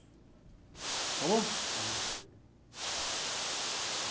Acabou? Só um minutinho.